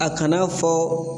A kana fɔ